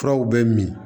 Furaw bɛ min